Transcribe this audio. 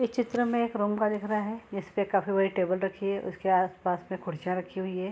इस चित्र में एक रूम का दिख रहा है। इस पे काफ़ी बड़ी टेबल रखी है उसके आस-पास में कुर्सियाँ रखी हुई है।